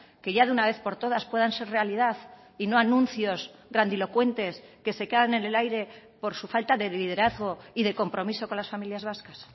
que ya de una vez por todas puedan ser realidad y no anuncios grandilocuentes que se quedan en el aire por su falta de liderazgo y de compromiso con las familias vascas